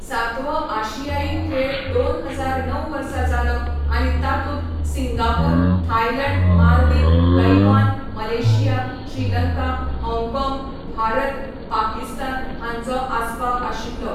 सातवो आशियाई खेळ दोन हजार णव वर्सा जालो आनी तातूंत Singapore, Thailand, Maldives, Taiwan, Malaysia, Sri Lanka, Hong Kong, Bharat, Pakistan हांचो आस्पाव आशिल्लो.